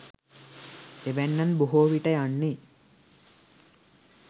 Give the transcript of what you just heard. එවැන්නන් බොහෝවිට යන්නේ